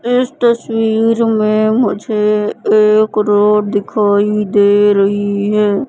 इस तस्वीर में मुझे एक रोड दिखाई दे रही है।